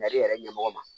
yɛrɛ ɲɛmɔgɔ ma